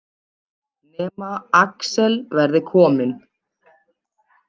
Nema Axel verði kominn.